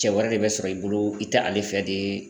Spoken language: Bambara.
Cɛ wɛrɛ de bɛ sɔrɔ i bolo i tɛ ale fɛ de.